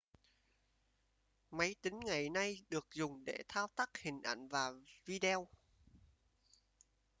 máy tính ngày nay được dùng để thao tác hình ảnh và video